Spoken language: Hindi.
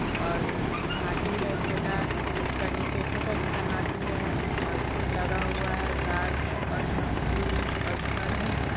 और हाथी है छोटा उसका नीचे छोटा-छोटा हाथी है | और लगा हुआ है गाछ और हाथी और घर है।